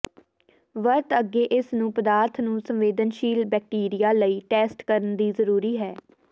ਵਰਤ ਅੱਗੇ ਇਸ ਨੂੰ ਪਦਾਰਥ ਨੂੰ ਸੰਵੇਦਨਸ਼ੀਲ ਬੈਕਟੀਰੀਆ ਲਈ ਟੈਸਟ ਕਰਨ ਲਈ ਜ਼ਰੂਰੀ ਹੈ